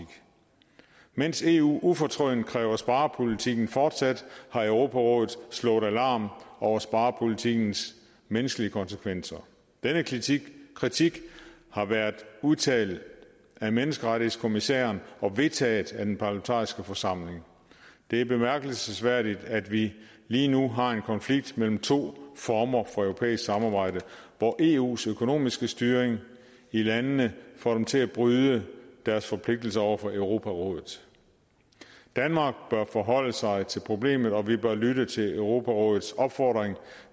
mens eu ufortrødent kræver sparepolitikken fortsat har europarådet slået alarm over sparepolitikkens menneskelige konsekvenser denne kritik kritik har været udtalt af menneskerettighedskommissæren og vedtaget af den parlamentariske forsamling det er bemærkelsesværdigt at vi lige nu har en konflikt mellem to former for europæisk samarbejde hvor eus økonomiske styring i landene får dem til at bryde deres forpligtelser over for europarådet danmark bør forholde sig til problemet og vi bør lytte til europarådets opfordring